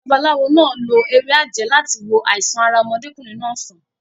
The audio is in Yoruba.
Babaláwo náà lo ewé àjẹ́ láti wo àìsàn ara ọmọdékùnrin náà sàn.